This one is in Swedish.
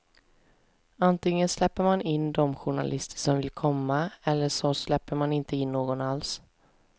Antingen släpper man in de journalister som vill komma eller så släpper man inte in någon alls.